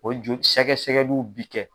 O joli sɛgɛsɛgɛli min bi kɛ.